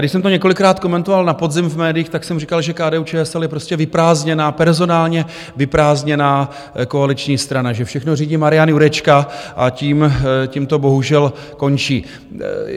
Když jsem to několikrát komentoval na podzim v médiích, tak jsem říkal, že KDU-ČSL je prostě vyprázdněná, personálně vyprázdněná koaliční strana, že všechno řídí Marian Jurečka, a tím to bohužel končí.